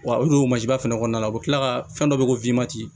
Wa o don fana kɔnɔna na u bi kila ka fɛn dɔ bɛ ko